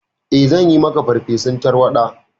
Eh, zanyi maka farfesun tarwaɗa.